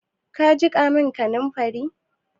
Ka jiƙa min kaninfari?